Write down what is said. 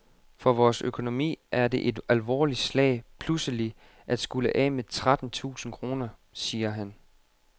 For vores økonomi er det et alvorligt slag pludselig at skulle af med tretten tusind kroner, siger han.